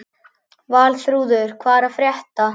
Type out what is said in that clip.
Valþrúður, hvað er að frétta?